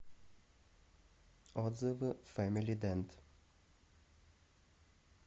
отзывы фэмили дэнт